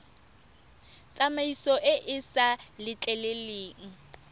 tsamaiso e e sa letleleleng